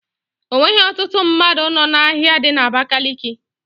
Onweghi ọtụtụ mmadụ nọ n'ahia dị na Abakaliki.